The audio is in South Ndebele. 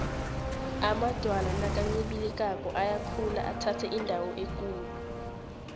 amadwala nakancibilikako ayakhula athathe indawo ekulu